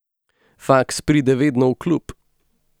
Faks pride vedno v klub.